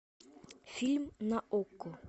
фильм на окко